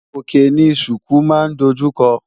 Òkè ni ṣùkú máa ń dojú kọ.